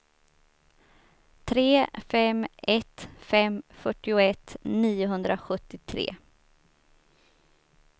tre fem ett fem fyrtioett niohundrasjuttiotre